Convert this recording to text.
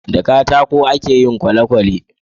da katako a ke yin kwalekwale